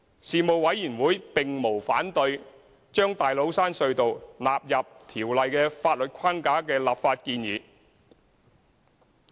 事務委員會並無反對把大老山隧道納入《條例》的法律框架的立法建議。